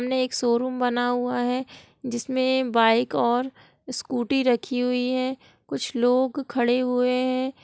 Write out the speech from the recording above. सामने एक शोरूम बना हुआ है जिसमे बाइक और स्कूटी रखी हुई है कुछ लोग खड़े हुए है।